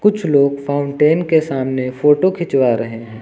कुछ लोग फाउंटेन के सामने फोटो खिंचवा रहे हैं।